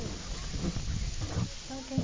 É isso.